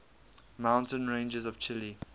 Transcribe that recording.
mountain ranges of chile